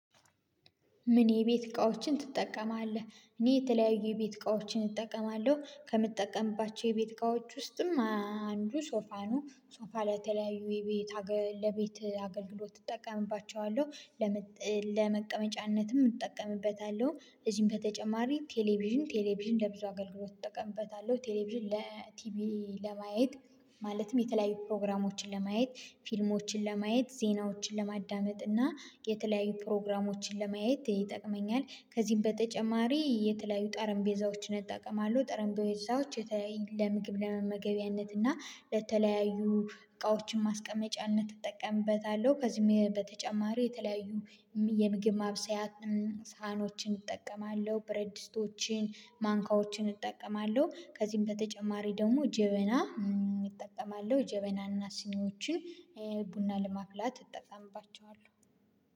ምን? የቤት እቃዎችን ትጠቀማለህ እኔ የተለያዩ የቤት እቃዎችን እጠቀማለሁ ከምጠቀምባቸው የቤት እቃዎች ውስጥም አንዱ ሶፋ ነው ሶፋ ላይ የተለያዩ የቤት ለቤት አገልግሎት እጠቀምባቸዋለሁ። ለመቀመጫነትም እጠቀምበታለሁ እዚህም በተጨማሪ ቴሌቪዥን ቴሌቪዥን ለብዙ አገልግሎት እጠቀምበታለሁ ቴሌቪዥን ለቲቪ ለማየት ማለትም የተለያዩ ፕሮግራሞችን ለማየት ፊልሞችን ለማየት ዜናዎችን ለማዳመጥ እና የተለያዩ ፕሮግራሞችን ለማየት ይጠቅመኛል። ከዚህም በተጨማሪ የተለያዩ ጠረንጴዛዎችን እጠቀማለሁ ጠረንጴዛዎች የተለያዩ ለምግብ ለመመገቢያነት እና ለተለያዩ እቃዎችን ማስቀመጫነት እጠቀምበታለሁ። ከዚህም በተጨማሪ የተለያዩ የምግብ ማብሰያ ሳህኖችን እጠቀማለሁ ብረድስቶችን ማንካዎችን እጠቀማለሁ። ከዚህም በተጨማሪ ደግሞ ጀበና እጠቀማለሁ ጀበናና ስኒዎችን ቡና ለማፍላት እጠቀምባቸዋለሁ።